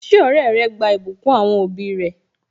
Ṣé ọrẹ rẹ gba ìbùkún àwọn òbí rẹ?